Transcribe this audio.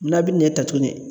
N'a bi nɛn ta tuguni